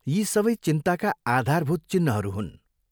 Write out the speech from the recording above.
यी सबै चिन्ताका आधारभूत चिह्नहरू हुन्।